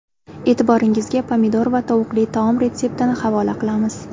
E’tiboringizga pomidor va tovuqli taom retseptini havola qilamiz.